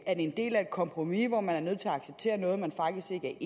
en del af et kompromis hvor man er nødt til at acceptere noget man faktisk ikke